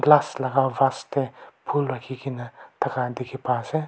last laha vast teh phul rakhi ke na tah khan dikhi pa ase.